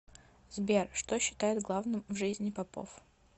сбер что считает главным в жизни попов